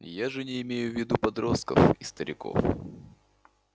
я же не имею в виду подростков и стариков